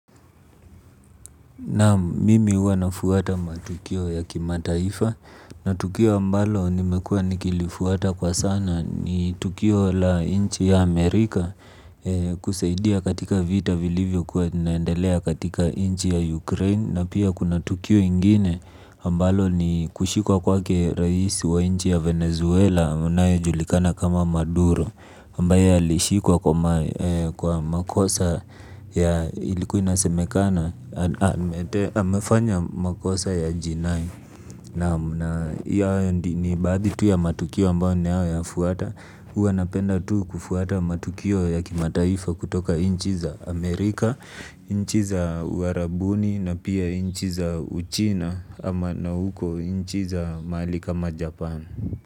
Naam, mimi huwa nafuata matukio ya kimataifa na tukio ambalo nimekuwa nikilifuata kwa sana ni tukio la nchi ya Amerika kusaidia katika vita vilivyokuwa katika vinaendelea katika nchi ya Ukraine na pia kuna tukio ingine ambalo ni kushikwa kwake rais wa nchi ya Venezuela anayejulikana kama Maduro ambaye alishikwa kwa makosa ya ilikuwa inasemekana. Amefanya makosa ya jinai. Naam, hao ni baadhi tu ya matukio ambayo ninayoyafwata, huwa napenda tu kufuata matukio ya kimataifa kutoka inchi za Amerika nchi za uarabuni na pia inchi za uchina ama na huko nchi za mahali kama Japan.